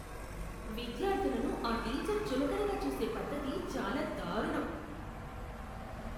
విద్యార్థులను ఆ టీచర్ చులకన చూసే పద్ధతి చాలా దారుణం.